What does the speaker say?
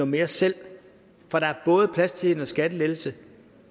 mere selv for der er både plads til en skattelettelse